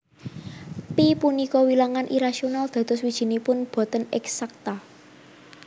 Pi punika wilangan irasional dados wijinipun boten eksakta